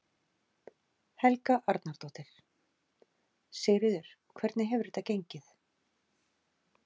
Helga Arnardóttir: Sigríður, hvernig hefur þetta gengið?